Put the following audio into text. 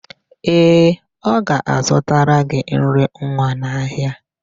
Ee, ọ ga-azụtara gị nri nwa n'ahịa.